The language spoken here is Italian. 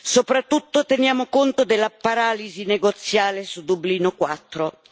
Soprattutto teniamo conto della paralisi negoziale su Dublino IV.